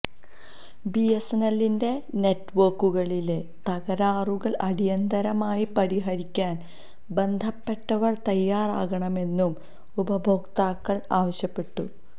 ബിഎസ്എന്എല്ലിന്റെ നെറ്റ്വര്ക്കുകളിലെ തകരാറുകള് അടിയന്തിരമായി പരിഹരിക്കാന് ബന്ധപ്പെട്ടവര് തയ്യാറാകണമെന്നും ഉപഭോക്താക്കള് ആവശ്യപ്പെട്ടു